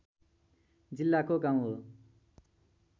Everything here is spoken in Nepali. जिल्लाको गाउँ हो